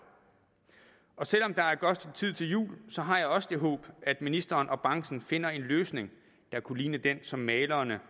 selv om der er et godt tid til jul har jeg også det håb at ministeren og branchen finder en løsning der kunne ligne den som malerne